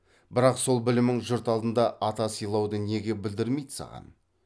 бірақ сол білімің жұрт алдында ата сыйлауды неге білдірмейді саған